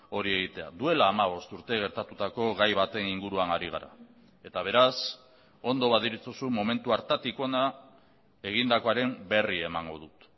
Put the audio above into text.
hori egitea duela hamabost urte gertatutako gai baten inguruan ari gara eta beraz ondo baderitzozu momentu hartatik hona egindakoaren berri emango dut